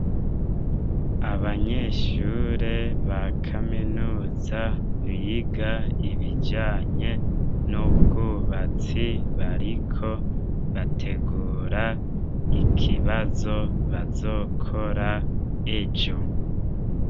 Abanyeshure ba kaminuza biga ibijanye n'ubwubatsi, bariko bategura ikibazo bazokora ejo.